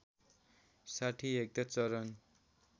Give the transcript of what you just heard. ६० hectare चरण